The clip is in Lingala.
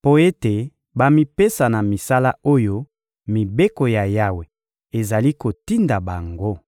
mpo ete bamipesa na misala oyo mibeko ya Yawe ezali kotinda bango.